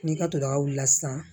N'i ka todagawula sisan